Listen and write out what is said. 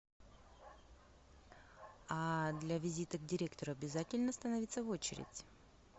а для визита к директору обязательно становиться в очередь